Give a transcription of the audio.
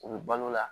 U bɛ balo la